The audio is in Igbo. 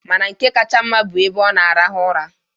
Mana nke kacha were maa mma bụ ebe ọ na-arahụ ụra.